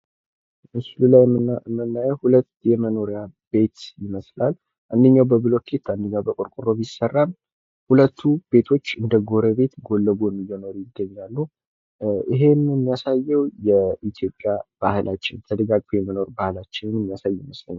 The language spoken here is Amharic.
ምስሉ ላይ የምናዬው ሁለት የመኖርያ ቤት ይመስላል። አንደኛው በብሎኬት አንደኛው በቆርቆሮ ቢሰራም ሁለቱም ቤቶች እንደጎረቤት ጎን ለጎን እየኖሩ ይገኛሉ። ይሄም የሚያሳዬው የኢትዮጵያ ባህላቺን ተደጋግፎ የመኖር ባህላቺን የሚያሳይ ይመስለኛል።